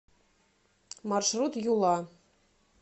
маршрут юла